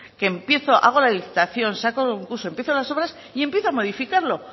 que empiezo hago la licitación saco concurso empiezo las obras y empiezo a modificarlo